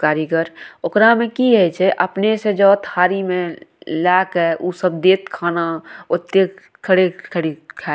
कारीगर ओकरा में की हेय छै अपने से जोअ थारी में लेए के उ सब देएत खाना ओते खड़े-खड़ी खाए --